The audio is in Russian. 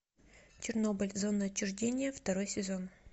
чернобыль зона отчуждения второй сезон